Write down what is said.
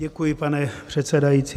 Děkuji, pane předsedající.